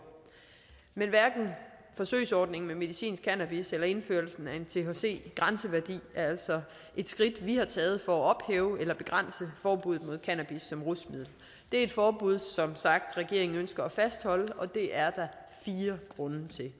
men hverken forsøgsordningen med medicinsk cannabis eller indførelsen af en thc grænseværdi er altså skridt vi har taget for at ophæve eller begrænse forbuddet mod cannabis som rusmiddel det er et forbud som sagt ønsker at fastholde og det er der fire grunde til